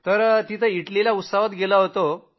तर तिथं इटलीला प्रदर्शनात गेलो होतो